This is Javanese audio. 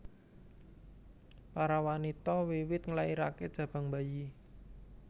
Para wanita wiwit nglairaké jabang bayi